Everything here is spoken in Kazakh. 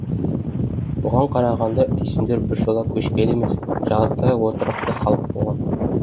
бұған қарағанда үйсіндер біржола көшпелі емес жартылай отырықты халық болған